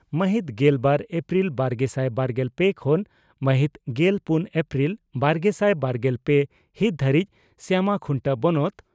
ᱢᱟᱦᱤᱛ ᱜᱮᱞᱵᱟᱨ ᱮᱯᱨᱤᱞ ᱵᱟᱨᱜᱮᱥᱟᱭ ᱵᱟᱨᱜᱮᱞ ᱯᱮ ᱠᱷᱚᱱ ᱢᱟᱦᱤᱛ ᱜᱮᱞ ᱯᱩᱱ ᱮᱯᱨᱤᱞ ᱵᱟᱨᱜᱮᱥᱟᱭ ᱵᱟᱨᱜᱮᱞ ᱯᱮ ᱦᱤᱛ ᱫᱷᱟᱹᱨᱤᱡ ᱥᱭᱟᱢᱟᱠᱷᱩᱱᱴᱟᱹ ᱵᱚᱱᱚᱛ